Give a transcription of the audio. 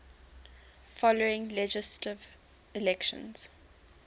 following legislative elections